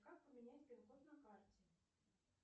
как поменять пин код на карте